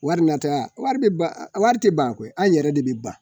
Wari nata wari bɛ ban wari tɛ ban koyi an yɛrɛ de bɛ ban